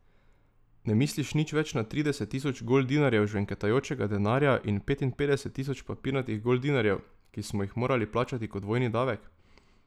Ne misliš nič več na trideset tisoč goldinarjev žvenketajočega denarja in petinpetdeset tisoč papirnatih goldinarjev, ki smo jih morali plačati kot vojni davek?